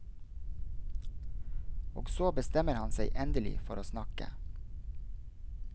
Og så bestemmer han seg endelig for å snakke.